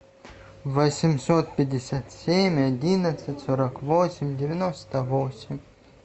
восемьсот пятьдесят семь одиннадцать сорок восемь девяносто восемь